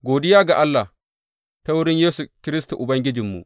Godiya ga Allah ta wurin Yesu Kiristi Ubangijinmu!